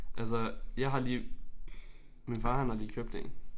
Altså jeg har lige min far han har lige købt én